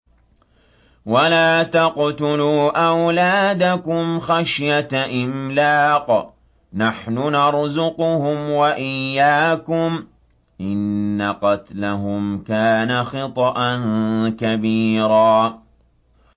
وَلَا تَقْتُلُوا أَوْلَادَكُمْ خَشْيَةَ إِمْلَاقٍ ۖ نَّحْنُ نَرْزُقُهُمْ وَإِيَّاكُمْ ۚ إِنَّ قَتْلَهُمْ كَانَ خِطْئًا كَبِيرًا